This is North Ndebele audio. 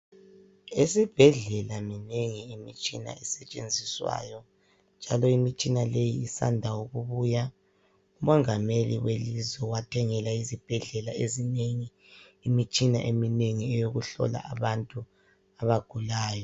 Esibhedlela minengi imtshina esetshenziswayo njalo imitshina leyi isanda ukubuya. Umongameli welizwe wathengela izibhedlela ezinengi imitshina eminengi eyokuhlola abantu abagulayo.